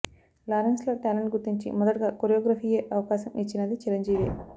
Lawrence లో talent గుర్తించి మొదటగా కొరియోగ్రఫీ ఎ అవకాశం ఇచ్చినది చిరంజీవే